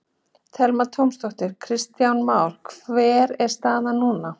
Telma Tómasdóttir: Kristján Már hver er staðan núna?